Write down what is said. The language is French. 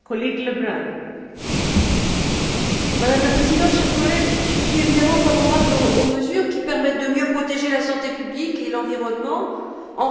Madame la Présidente, chers collègues, je suis évidemment favorable aux mesures qui permettent de mieux protéger la santé publique et l'environnement en réduisant le niveau sonore des véhicules à moteur.